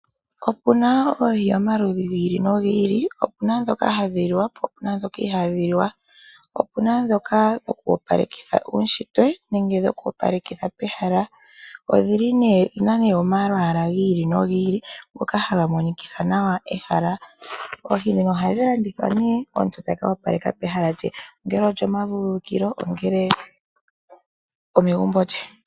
Opuna oohi dhomaludhi nomaludhi, opuna dhoka hadhi li wa naadhoka ihaadhiliwa, opena dhoka dhoku opaleka uushitwe nenge dhokoopaleka pehala. Odhili nee dhina omalwaala gi ili nogi ili ngoka haga monikitha nawa ehala. Oohi dhono ohadhi landithwa nee yo omuntu taka opaleka ehala lye ongele olyo movululukilo nenge omegumbo lye.